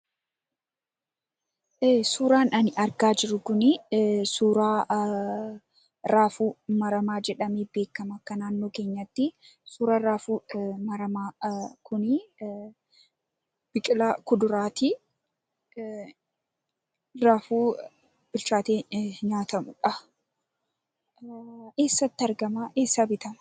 Suuraan ani argaa jiru kun, suuraa raafuu maramaa jedhamee beekamu akka naannoo keenyatti. Raafuun maramaa kun biqilaa kuduraati. Raafuu bilchaatee nyaatamudha. Eessatti argama? Eessaa bitama?